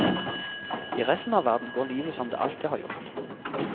I resten av verden går livet som det alltid har gjort.